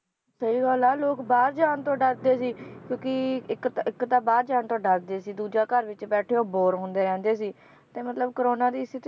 ਸਹੀ ਗੱਲ ਆ ਲੋਕ ਬਾਹਰ ਜਾਨ ਤੋਂ ਡਰਦੇ ਸੀ ਕਿਉਕਿ ਇਕ ਤਾਂ, ਇਕ ਤਾਂ ਬਾਹਰ ਜਾਨ ਤੋਂ ਡਰਦੇ ਸੀ, ਦੂਜਾ ਘਰ ਵਿਚ ਬੈਠੇ ਉਹ bore ਹੁੰਦੇ ਰਹਿੰਦੇ ਸੀ ਤੇ ਮਤਲਬ ਕੋਰੋਨਾ ਦੀ ਸਥਿਤੀ